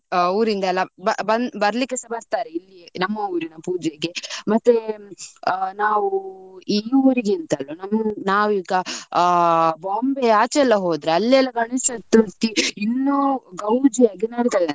ಊರಿಂದ ಎಲ್ಲ ಬಂದ್ ~ ಬರಲಿಕ್ಕೆ ಸಹ ಬರ್ತಾರೆ ಇಲ್ಲಿ. ನಮ್ಮ ಊರಿನ ಪೂಜೆಗೆ ಮತ್ತೆ ನಾವು ಈ ಊರಿಗಿಂತಲೂ. ನಾವು ಈಗ ಆ Bombay ಆಚೆ ಎಲ್ಲಾ ಹೋದ್ರೆ ಅಲ್ಲಿ ಎಲ್ಲಾ ಗಣೇಶ ಚತುರ್ಥಿ ಇನ್ನೂ ಗೌಜಿಯಾಗಿ ನಡಿತದಂತೆ.